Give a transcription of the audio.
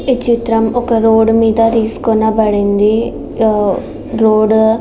ఈ చిత్రము ఒక రోడ్డు మీద తీసుకొని పడింది. ఆ రోడ్డు --